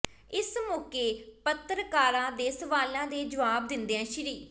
ਇਸ ਮੌਕੇ ਪੱਤਰਕਾਰਾਂ ਦੇ ਸਵਾਲਾਂ ਦੇ ਜਵਾਬ ਦਿੰਦਿਆਂ ਸ